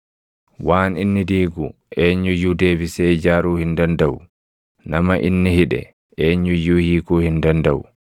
Waan inni diigu eenyu iyyuu deebisee ijaaruu hin dandaʼu; nama inni hidhe eenyu iyyuu hiikuu hin dandaʼu.